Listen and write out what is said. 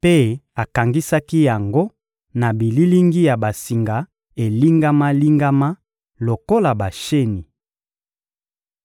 mpe akangisaki yango na bililingi ya basinga elingama-lingama lokola basheni.